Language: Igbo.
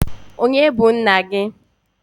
Onye bu nna gi?